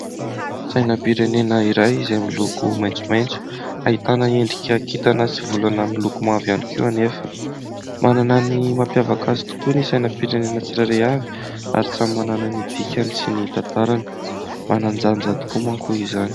Sainampirenena iray izay miloko maitsomaitso ahitana endrika kintana sy volana amin'ny loko mavo ihany koa anefa. Manana ny mampiavaka azy tokoa ny sainampirenena tsirairay avy ary samy manana ny dikany sy ny tantarany, manan-danja tokoa moa izany.